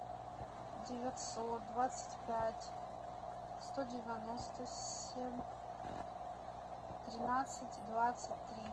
девятьсот двадцать пять сто девяносто семь тринадцать двадцать три